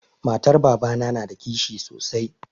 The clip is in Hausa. Matar babana na da kishi sosai.